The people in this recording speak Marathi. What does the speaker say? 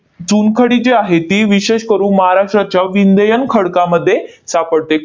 चुनखडी जी आहे, ती विशेष करून महाराष्ट्राच्या विंध्ययन खडकामध्ये सापडते.